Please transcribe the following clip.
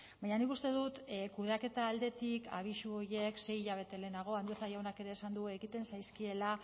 baina nik uste dut kudeaketa aldetik abisu horiek sei hilabete lehenago andueza jaunak ere esan du egiten zaizkiela